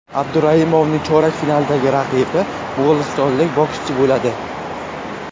Abduraimovning chorak finaldagi raqibi mo‘g‘ulistonlik bokschi bo‘ladi.